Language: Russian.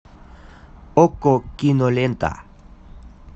окко кинолента